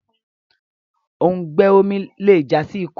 òùngbẹ omí le já sí ikú